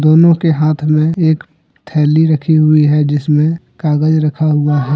दोनों के हाथ में एक थैली रखी हुई है जिसमें कागज रखा हुआ है।